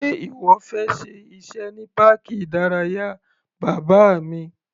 Sé ìwọ fẹ́ ṣe iṣẹ́ ní páàkì ìdárayá bàbá mi?